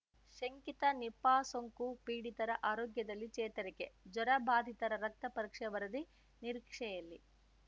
ಶಂಕಿತ ನಿಪಾ ಸೋಂಕು ಪೀಡಿತರ ಆರೋಗ್ಯದಲ್ಲಿ ಚೇತರಿಕೆ ಜ್ವರ ಬಾಧಿತರ ರಕ್ತ ಪರೀಕ್ಷೆ ವರದಿ ನಿರೀಕ್ಷೆಯಲ್ಲಿ